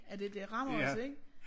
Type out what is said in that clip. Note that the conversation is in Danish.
At det rammer os ik